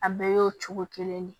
A bɛɛ y'o cogo kelen de ye